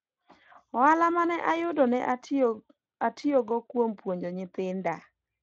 ohala mane ayudo ne atiyogo kuom puonjo nyithinda